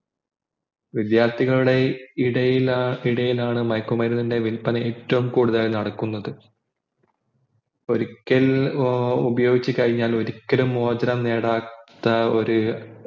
വിദ്യാർത്ഥികളുടെ ഇടയിൽ ഇടയിലാണ് മയക്കുമരുന്നിൻ്റെ വില്പന ഏറ്റവും കൂടുതൽ നടകുന്നത് ഒരിക്കൽ ഉപയാഗിച്ചു കഴിഞ്ഞാ ഏർ ഒരിക്കലും മോചനം നേടാത്ത ഒര്